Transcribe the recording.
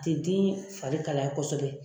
tɛ den fari kalaya kosɛbɛ.